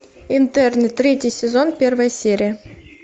интерны третий сезон первая серия